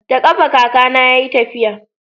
da kafa kaka na ya yi tafiya